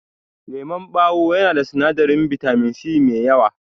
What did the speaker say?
Lemon ɓawo yana da sinadarin bitamin C mai yawa.